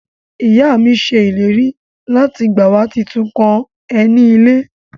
Iya mi se ileri lati gba wa titun kan eni ile.